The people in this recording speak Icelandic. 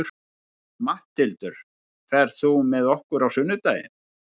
Matthildur, ferð þú með okkur á sunnudaginn?